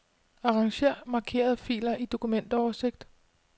Arranger markerede filer i dokumentoversigt.